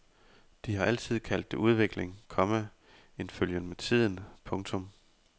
De har altid kaldt det udvikling, komma en følgen med tiden. punktum